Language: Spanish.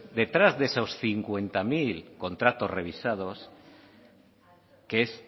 detrás de esos cincuenta mil contratos revisados que es